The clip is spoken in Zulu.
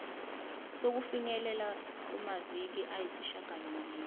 sokufinyelela kumaviki ayisishagalombili